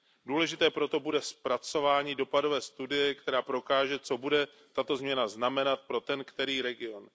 Důležité proto bude zpracování dopadové studie, která prokáže, co bude tato změna znamenat pro ten který region.